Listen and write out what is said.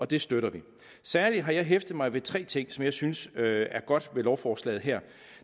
det støtter vi særlig har jeg hæftet mig ved tre ting som jeg synes er godt ved lovforslaget her